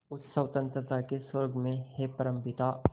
उस स्वतंत्रता के स्वर्ग में हे परमपिता